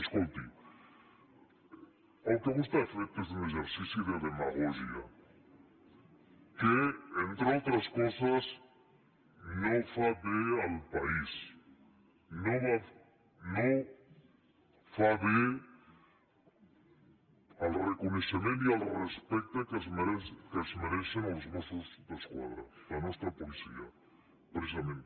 escolti el que vostè ha fet és un exercici de demagògia que entre altres coses no fa bé al país no fa bé al reconeixement i al respecte que es mereixen els mossos d’esquadra la nostra policia precisament